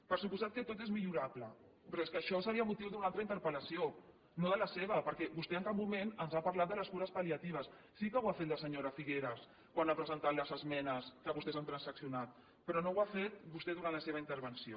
per descomptat que tot és millorable però és que això seria motiu d’una altra interpel·lació no de la seva perquè vostè en cap moment ens ha parlat de les cures palliatives sí que ho ha fet la senyora figueras quan ha presentat les esmenes que vostès han transaccionat però no ho ha fet vostè durant la seva intervenció